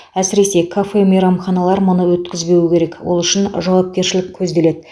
әсіресе кафе мейрамханалар мұны өткізбеуі керек ол үшін жауапкершілік көзделеді